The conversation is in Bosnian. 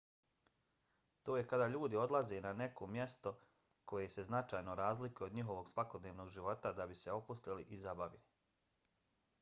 to je kada ljudi odlaze na neko mjesto koje se značajno razlikuje od njihovog svakodnevnog života da bi se opustili i zabavili